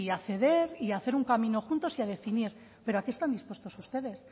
a ceder y a hacer un camino juntos y a definir pero a qué están dispuestos ustedes